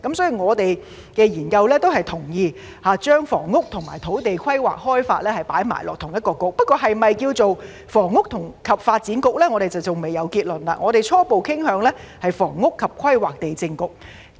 所以，我們的研究結果也同意把房屋和土地規劃開發放在同一個政策局，不過是否名為"房屋及發展局"，我們尚未有結論，我們初步傾向名為"房屋及規劃地政局"。